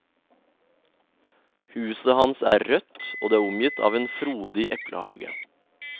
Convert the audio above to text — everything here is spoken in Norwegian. Huset hans er rødt og det er omgitt av en frodig eplehage.